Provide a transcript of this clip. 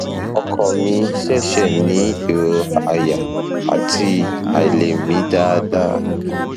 ọkọ mi ṣẹṣẹ ní ìrora àyà àti àìlè mí dáadáa